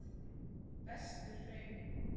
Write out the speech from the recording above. Vesturhrauni